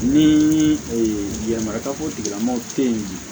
Ni yɛlɛma ka o tigilamɔgɔ te yen